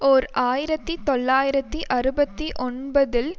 ஓர் ஆயிரத்தி தொள்ளாயிரத்தி அறுபத்தி ஒன்பதில்